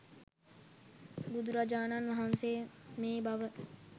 බුදුරජාණන් වහන්සේ මේ බව